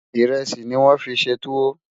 írèsì ní wón fí ṣé túwò